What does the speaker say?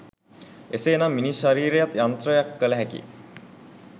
එසේ නම් මිනිස් ශරීරයත් යන්ත්‍රයක් කල හැකි